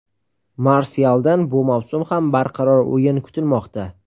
Marsyaldan bu mavsum ham barqaror o‘yin kutilmoqda.